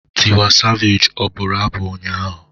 Tiwa Savage ọ buru abụ ụnyaahụ?